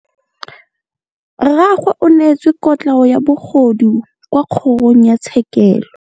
Rragwe o neetswe kotlhaô ya bogodu kwa kgoro tshêkêlông.